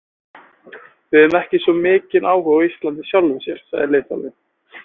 Við höfum ekki svo mikinn áhuga á Íslandi í sjálfu sér, sagði liðþjálfinn.